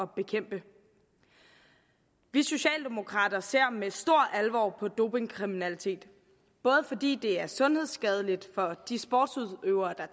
bekæmpe vi socialdemokrater ser med stor alvor på dopingkriminalitet både fordi det er sundhedsskadeligt for de sportsudøvere der